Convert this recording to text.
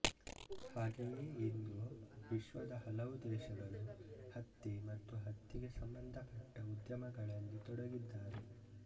ಹಾಗೆಯೇ ಇಂದು ವಿಶ್ವದ ಹಲವುದೇಶಗಳು ಹತ್ತಿ ಮತ್ತು ಹತ್ತಿಗೆ ಸಂಬಂಧ ಪಟ್ಟ ಉದ್ಯಮಗಳಲ್ಲಿ ತೊಡಗಿದ್ದಾರೆ